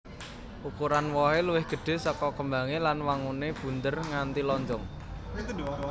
Ukuran wohé luwih gedhé saka kembangé lan wanguné bunder nganti lonjong